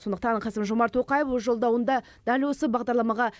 сондықтан қасым жомарт тоқаев өз жолдауында дәл осы бағдарламаға